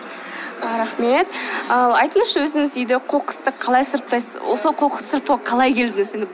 ы рахмет ал айтыңызшы өзіңіз үйде қоқысты қалай сұрыптайсыз осы қоқысты сұрыптауға қалай келдіңіз